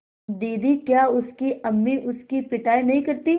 दीदी क्या उसकी अम्मी उसकी पिटाई नहीं करतीं